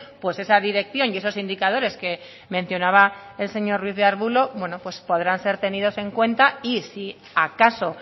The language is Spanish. pues esa dirección y esos indicadores que mencionaba el señor ruiz de arbulo pues podrán ser tenidos en cuenta y si acaso